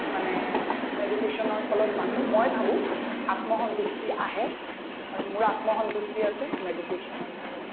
মানে meditation ৰ ফলত মানুহ মই ভাবো আত্মসন্তুষ্টি আহে আৰু মোৰ আত্মসন্তুষ্টি আছে meditation ৰ কাৰণে